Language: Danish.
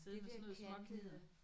Det der kanthed